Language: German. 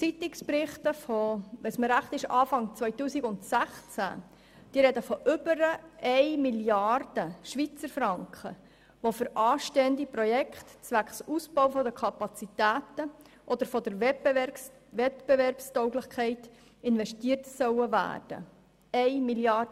Zeitungsberichte von Anfang 2016 sprechen von über 1 Mrd. Schweizerfranken, die für anstehende Projekte zwecks Ausbau der Kapazitäten oder der Wettbewerbstauglichkeit investiert werden sollen.